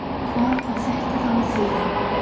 Hvað á þetta þá að þýða?